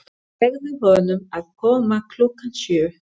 Segðu honum að koma klukkan sjö.